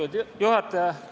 Austatud juhataja!